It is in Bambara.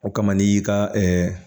O kama n'i y'i ka